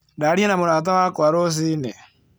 Ndaria na mũrata wakwa rũcinĩ.